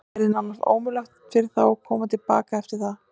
Það yrði nánast ómögulegt fyrir þá að koma til baka eftir það.